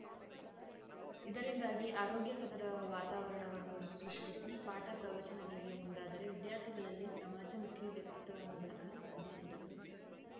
ಇದರಿಂದಾಗಿ ಆರೋಗ್ಯಕದರ ವಾತಾವರಣವನ್ನು ಸೃಷ್ಠಿಸಿ ಪಾಠ ಪ್ರವಚನಗಳಿಗೆ ಮುಂದಾದರೆ ವಿದ್ಯಾರ್ಥಿಗಳಲ್ಲಿ ಸಮಾಜಮುಖಿ ವ್ಯಕ್ತಿತ್ವವನ್ನು ಬೆಳೆಸಲು ಸಾಧ್ಯ ಎಂದರು